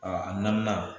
a naaninan